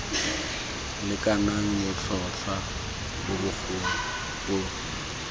lekanang botlhotlhwa bo bogolo bo